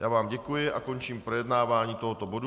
Já vám děkuji a končím projednávání tohoto bodu.